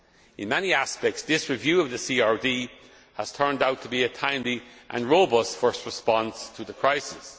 In many aspects this review of the CRD has turned out to be a timely and robust first response to the crisis.